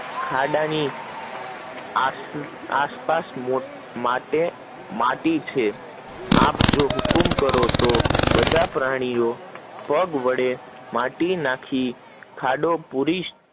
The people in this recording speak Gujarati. ખાડા ની આસપાસસ માટી છે, આપ જો હુકમ કકરો તો બધા પ્રાણીઓ પગ વડે માટી નખી ખાડો પુરી